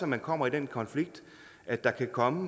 man kommer i den konflikt at der kan komme